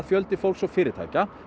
fjöldi fólks og fyrirtækja